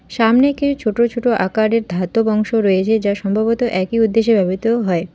সামনে কেউ ছোটো ছোটো আকারের ধাতব অংশ রয়েছে যা সম্ভবত একই উদ্দেশ্যে ব্যবহৃত হয়।